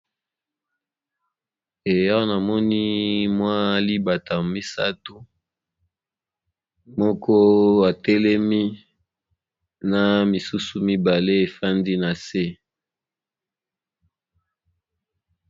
Ehh namini MWA libata misatu Moko ateli na MWA mosusu batelemi nase